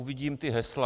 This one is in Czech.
Uvidím ta hesla.